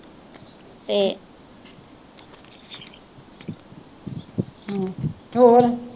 ਹਮ ਫੇਰ